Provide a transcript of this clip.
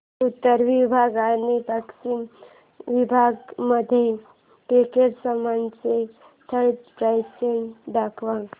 उत्तर विभाग आणि पश्चिम विभाग मधील क्रिकेट सामन्याचे थेट प्रक्षेपण दाखवा